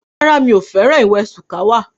Rárá, mi ò fẹ́ràn ewé shuwaka